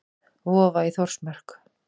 Vofa í Þórsmörk.